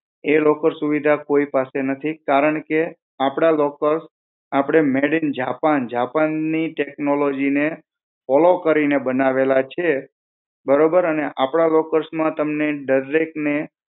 એ locker સુવિધા કોઈ પાસે નથી કારણકે આપડા locker made in japan, Japan Technology, ને follow કરીને બનેવાલા છે બરાબર અને આપડા લોકો માં તમને દરેક ને